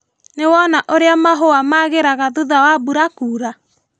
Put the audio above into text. Nĩwona ũrĩa mahũa magĩraga thutha wa mbura kura?